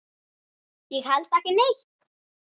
Ég held ekki neitt.